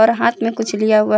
और हाथ में कुछ लिया हुआ है।